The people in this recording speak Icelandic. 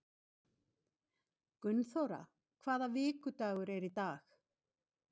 Gunnþóra, hvaða vikudagur er í dag?